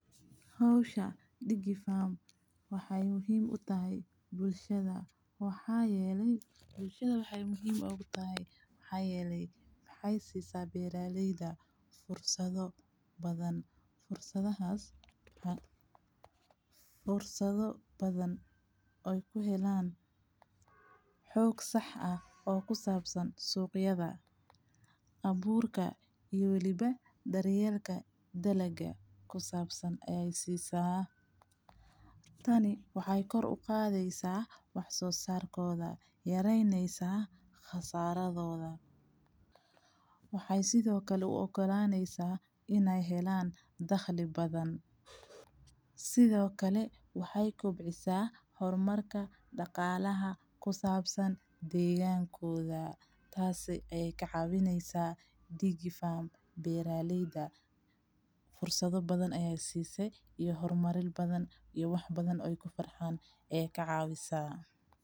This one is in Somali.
Hawsha digifarm waxay muhiim u tahay bulshada, waxaa yeelay bulshada waxay muhiim ugu tahay, waxay yeelay waxaysiisa beeraaleyda fursado badan. Fursadahas a fursado badan ay ku heleen xoog sax ah oo ku saabsan suuqyada, abuurka iyo weliba daryeelka dalagee ku saabsan ee ay siisaa. Tani waxay kor u qaadeysaa wax soo sarkooda, yaraynaysa khasaaradooda. Waxay sidoo kale uu ogolaanaysa inay helaan dakhli badan. Sidoo kale waxay kobcisaa hormarka dhaqaalaha ku saabsan deegaankooda. Taasi ayay kacawinaysaa digifarm, beeraaleyda, fursado badan ee ay siisay iyo hormaril badan iyo wax badan oy ku farxaan ee ka caawisay.